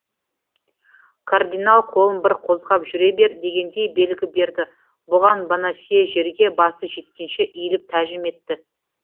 кардинал қолын бір қозғап жүре бер дегендей белгі берді бұған бонасье жерге басы жеткенше иіліп тәжім етті